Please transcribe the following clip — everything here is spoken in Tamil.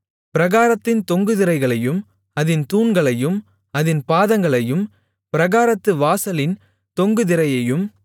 பிராகாரத்தின் தொங்கு திரைகளையும் அதின் தூண்களையும் அதின் பாதங்களையும் பிராகாரத்து வாசலின் தொங்கு திரையையும்